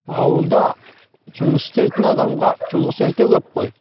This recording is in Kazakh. ауылда жұмыс істейтін адамға жұмыс өте көп қой